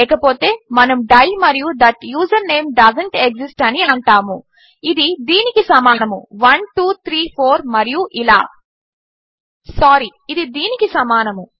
లేకపోతే మనము డై మరియు థాట్ యూజర్నేమ్ డోసెంట్ ఎక్సిస్ట్ అని అంటాము ఇది దీనికి సమానము 1234 మరియు ఇలా సారి ఇది దీనికి సమానము